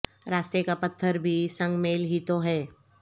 راستے کا پتھر بھی سنگ میل ہی تو ہے